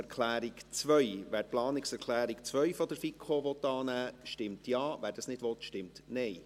Wer die Planungserklärung 2 der FiKo annehmen will, stimmt Ja, wer das nicht will, stimmt Nein.